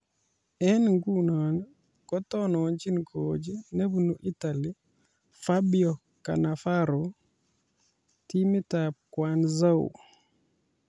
Eng nguno kotononjin coach nebunu Italy ,Fabio Cannavaro timitab Guangzhou